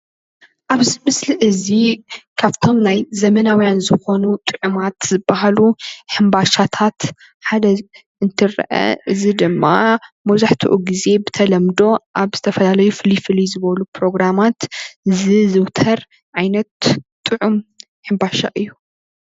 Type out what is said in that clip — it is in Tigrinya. ኣብዚ ምስሊ እትርእዮ እዚ ካብቶም ናይ ዘመናዊያን ዝኮኑ ጥዕማት ዝብሃሉ ሕምባሻታት ሓደ እንትረአ እዚ ድማ መብዛሕቲኡ ጊዜ ብተለምዶ ኣብ ዝተፈላለዩ ፍልይ ፍልይ ዝበሉ ፕሮግራማት ዝዝዉተር ዓይነት ጥዑም ሕምባሻ እዩ።